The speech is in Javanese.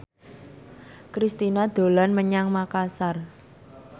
Kristina dolan menyang Makasar